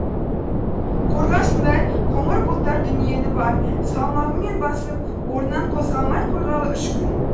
қорғасындай қоңыр бұлттар дүниені бар салмағымен басып орнынан қозғалмай қойғалы үш күн